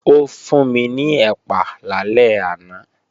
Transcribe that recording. Ó fún mi ní ẹ̀pà lálẹ́ àná